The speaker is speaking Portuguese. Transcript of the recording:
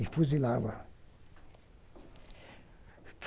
E fuzilava.